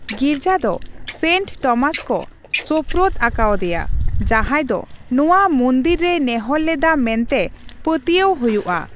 ᱜᱤᱨᱡᱟᱹ ᱫᱚ Saint Thomas ᱠᱚ ᱥᱳᱯᱨᱳᱫ ᱟᱠᱟᱣᱟᱫᱮᱭᱟ, ᱡᱟᱦᱟᱸᱭ ᱫᱚ ᱱᱚᱣᱟ ᱢᱚᱱᱫᱤᱨ ᱨᱮᱭ ᱱᱮᱦᱚᱨ ᱞᱮᱫᱟ ᱢᱮᱱᱛᱮ ᱯᱟᱹᱛᱭᱟᱹᱜ ᱦᱳᱭᱳᱜᱼᱟ ᱾